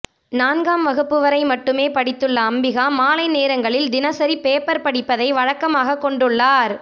நான்காம் வகுப்பு வரை மட்டுமே படித்துள்ள அம்பிகா மாலை நேரங்களில் தினசரி பேப்பர் படிப்பதை வழக்கமாக கொண்டுள்ளார்